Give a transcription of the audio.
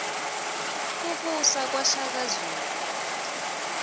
kubusa kwa shaka zulu